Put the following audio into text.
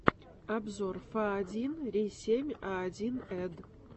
обзор фа один ри семь а один эд